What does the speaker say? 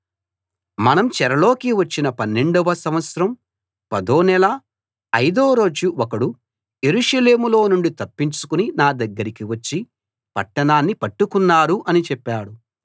మనం చెరలోకి వచ్చిన పన్నెండవ సంవత్సరం పదో నెల అయిదో రోజు ఒకడు యెరూషలేములో నుండి తప్పించుకుని నా దగ్గరికి వచ్చి పట్టణాన్ని పట్టుకున్నారు అని చెప్పాడు